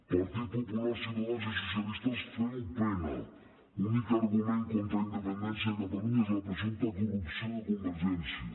partit popular ciutadans i socialistes feu pena l’únic argument contra la independència de catalunya és la presumpta corrupció de convergència